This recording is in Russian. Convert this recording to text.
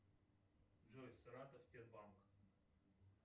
джой саратов сбербанк